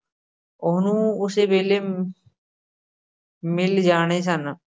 ਉਹਨੂੰ ਉਸੇ ਵੇਲ਼ੇ ਮਿਲ਼ ਜਾਣੇ ਸਨ।